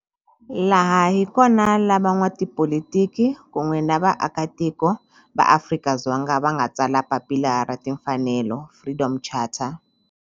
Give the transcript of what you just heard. Laha hi kona la van'watipolitiki kun'we ni vaaka tiko va Afrika-Dzonga va nga tsala papila ra timfanelo, Freedom Charter.